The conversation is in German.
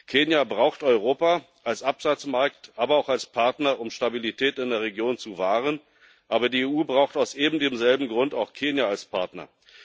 Kenia braucht Europa als Absatzmarkt, aber auch als Partner, um Stabilität in der Region zu wahren, aber die EU braucht aus eben demselben Grund auch Kenia als Partner.